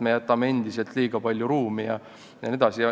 Me jätame endiselt liiga palju ruumi jne.